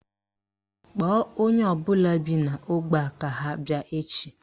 Kpọọ onye ọbụla bi n'ógbè a ka ha bịa echi